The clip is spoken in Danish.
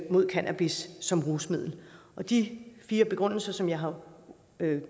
mod cannabis som rusmiddel de fire grunde som jeg har